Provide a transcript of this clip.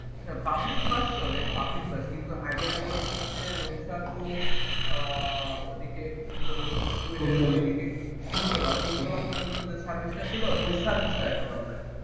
public bus চলে public bus কিন্তু আগে যেমন হচ্ছে রোকসাতু ওইদিকে ছিল হচ্ছে যে ফুলতলা ফুলতলা ফুলতলার ওইদিকে যে সার্ভিসটা ছিল ওইটা এখন আর নাই